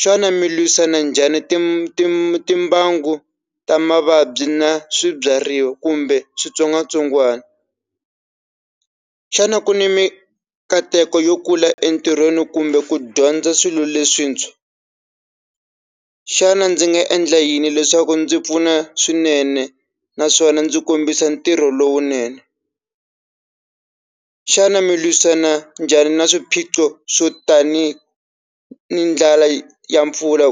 xana mi lwisana njhani tim tim tim timbangu ta mavabyi na swibyariwa kumbe switsongwatsongwani xana ku ni mikateko yo kula entirhweni kumbe ku dyondza swilo leswintshwa xana ndzi nga endla yini leswaku ndzi pfuna swinene naswona ndzi kombisa ntirho lowunene xana mi lwisana njhani na swiphiqo swo tanihi ndlela ya mpfula